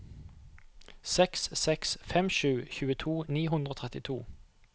seks seks fem sju tjueto ni hundre og trettito